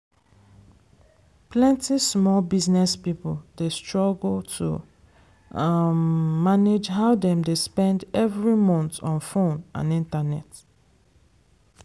plenty small business people dey struggle to um manage how dem dey spend every month on fone and internet.